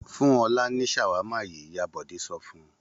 Fún Ọlá ní ṣàwámà yìí! Ìyá Bọ̀dé sọ fún un.